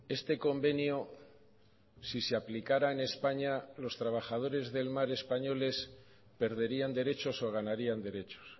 este convenio si se aplicara en españa los trabajadores del mar españoles perderían derechos o ganarían derechos